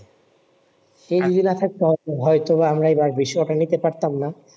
সে যদি না থাকতো হয়তো বা আমরা এই বার বিশ্বকাপ টা নিতে পারতাম না